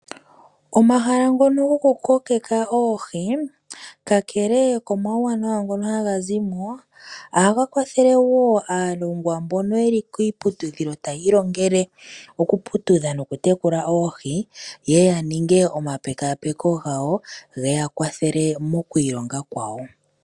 Omahala ngoka goku kokeka oohi, kakele komauwanawa ngoka haga zimo, ohaga kwathele woo aalongwa mbono yeli kiiputudhilo yaya ilongele oku putudha noku tekula oohi yeye yaninge oma pekaa peko gawo, geya kwathele mokwiilonga kwawo.